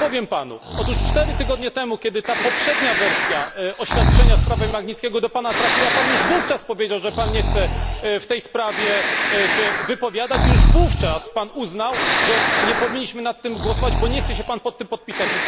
Natomiast powiem Panu otóż 4 tygodnie temu, kiedy ta poprzednia wersja oświadczenia w sprawie Magnickiego do Pana trafiła, już wówczas powiedział Pan, że nie chce się Pan w tej sprawie wypowiadać i już wówczas uznał Pan, że nie powinniśmy nad tym głosować, ponieważ nie chce się Pan pod tym podpisać.